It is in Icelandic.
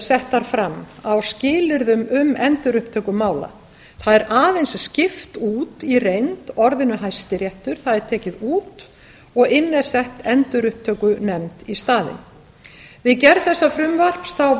settar fram á skilyrðum um endurupptöku mála það er aðeins skipt út í reynd orðinu hæstiréttur það er tekið út og inn er sett endurupptökunefnd í staðinn við gerð þessa frumvarps